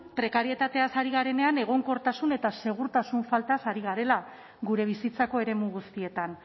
prekarietateaz ari garenean egonkortasun eta segurtasun faltaz ari garela gure bizitzako eremu guztietan